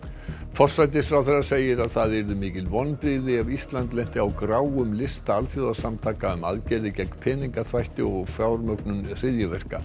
forsætisráðherra segir að það yrðu mikil vonbrigði ef Ísland lenti á gráum lista alþjóðasamtaka um aðgerðir gegn peningaþvætti og fjármögnun hryðjuverka